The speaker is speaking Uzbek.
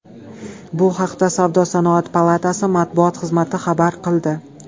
Bu haqda Savdo-sanoat palatasi matbuot xizmati xabar qildi.